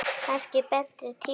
Kannski betri tíma.